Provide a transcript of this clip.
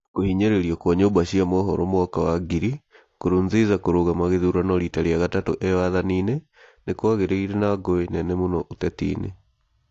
Kũhinyĩrĩrio gwa nyũmba cia mohoro Mwaka wa ngiri , Nkurunziza kũrũgama gĩthurano rita rĩa gatatũ e wathaninĩ , nĩ kwagĩire na ngũĩ nene mũno ũteti-inĩ.